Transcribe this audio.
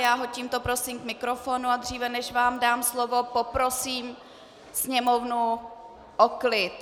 Já ho tímto prosím k mikrofonu, a dříve než vám dám slovo, poprosím sněmovnu o klid.